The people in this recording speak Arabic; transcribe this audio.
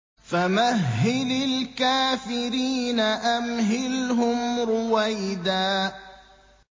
فَمَهِّلِ الْكَافِرِينَ أَمْهِلْهُمْ رُوَيْدًا